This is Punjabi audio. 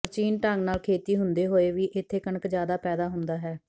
ਪ੍ਰਾਚੀਨ ਢੰਗ ਨਾਲ ਖੇਤੀ ਹੁੰਦੇ ਹੋਏ ਵੀ ਇੱਥੇ ਕਣਕ ਜਿਆਦਾ ਪੈਦਾ ਹੁੰਦਾ ਹੈ